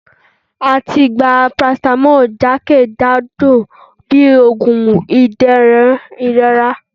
À tí gbá paracetamol jákéjádọ bi oògùn ìdérún ìrorá